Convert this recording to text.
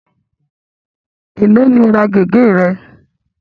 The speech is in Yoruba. Ẹ̀ló ni o ra gẹ̀gẹ́ re?